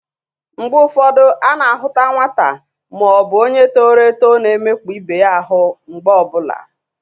Mgbe ụfọdụ a na-ahụta nwata ma ọ bụ onye toro eto na-emekpa ibe ya ahụ mgbe ọ bụla.